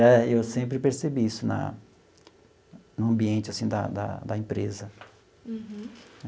E eu sempre percebi isso na no ambiente, assim, da da da empresa. Uhum.